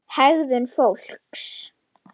HEGÐUN FÓLKS